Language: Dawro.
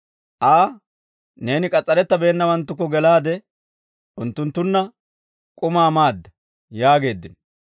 Aa, «Neeni k'as's'arettibeennawanttukko gelaade, unttunttunna k'umaa maada» yaageeddino.